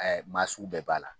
Maa sugu bɛɛ b'a la